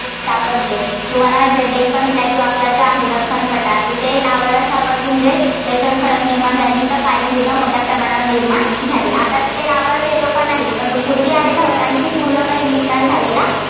सापडते. तुम्हाला माहितेय deccan plateau आपला आहे, दख्खन पठार तिथे lava रसापासून basalt खडक निर्माण झाल्याने तिथे काळी मृदा मोठ्या प्रमाणावर निर्माण झाली. आता तिथे Lava रस येतो का? नाही. पण तो पूर्वी आलेला होता, आणि ती पूर्णपणे विस्तार झालेला